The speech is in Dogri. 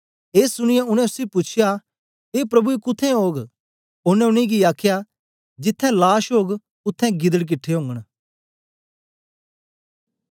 ए सुनीयै उनै उसी पूछया ए प्रभु ए कुत्थें ओग ओनें उनेंगी आखया जिथें लाश ओग उत्थें गिदड किट्ठे ओगन